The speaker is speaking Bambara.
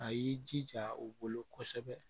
A y'i jija u bolo kosɛbɛ